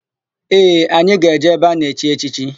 Ee, anyị ga-eje ebe a na-echi echichi.